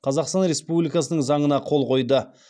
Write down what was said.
қазақстан республикасының заңына қол қойды